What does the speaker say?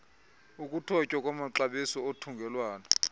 ukuthotywa kwamaxabiso othungelwano